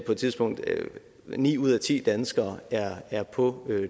på et tidspunkt ni ud af ti danskere er er på